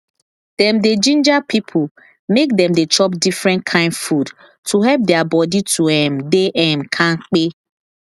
dem dey ginger people make dem dey chop different kind food to help their body to um dey um kampe